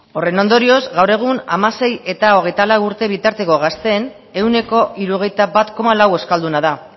horren ondorioz gaur egun hamasei eta hogeita lau urte bitarteko gazteen ehuneko hirurogeita bat koma lau euskalduna da